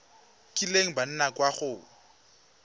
kileng ba nna kwa go